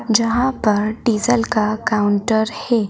जहां पर डीजल का काउंटर है।